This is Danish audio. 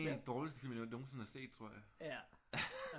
Det er en af de dårligste film jeg nogensinde har set tror jeg